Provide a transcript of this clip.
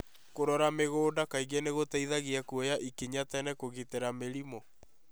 Kũrora mũgũnda kaingĩ nĩ gũteithagia kũoya ĩkinya tene kũgitĩra mĩrimũ.